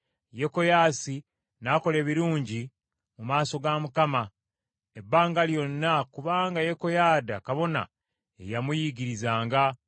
Yekoyaasi n’akola ebirungi mu maaso ga Mukama , ebbanga lyonna, kubanga Yekoyaada kabona ye yamuyigirizanga.